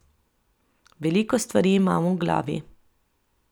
Veliko stvari imam v glavi.